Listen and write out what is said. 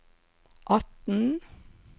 atten